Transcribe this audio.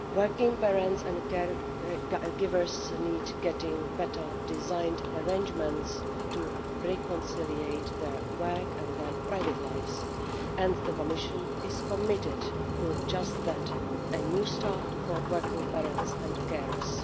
Working parents and care givers need better designed arrangements to reconcile their work and their private lives, and the Commission is committed to just that a New Start' for working parents and carers.